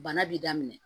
Bana b'i daminɛ